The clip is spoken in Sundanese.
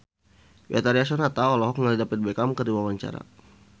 Betharia Sonata olohok ningali David Beckham keur diwawancara